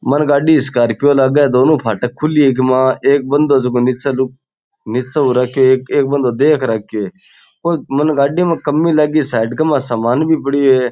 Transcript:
मन गाड़ी स्कार्पिओ लागे दोनों फाटक खुली है इक मा एक बन्दों है जको नीचे लुक नीचे हो राख्यो है एक बन्दों देख राख्यो है कोई मने गाड़ी में कमी लागी साइड के माय समान भी पड़यो है।